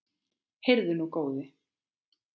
Heyrðu nú, góði!